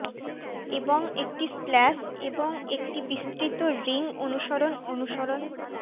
এবং একটি স্প্ল্যাশ এবং একটি বিস্তৃত রিং অনুসরণ অনুসরণ